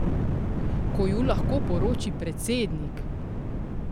Ko ju lahko poroči predsednik!